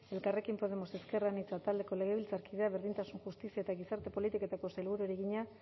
elkarrekin podemos ezker anitza taldeko legebiltzarkideak berdintasun justizia eta gizarte politiketako sailburuari egina